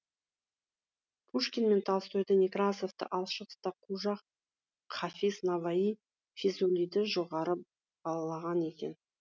пушкин мен толстойды некрасовты ал шығыста қожа хафиз наваи физулиді жоғары бағалаған екен